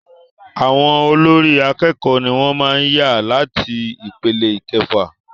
Àwọn olórí àkẹ́kọ̀ọ ní wọ́n màá n yàn láti ipele ìkẹfà.